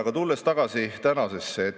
Aga tulen tagasi tänasesse.